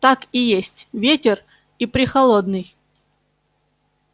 так и есть ветер и прехолодный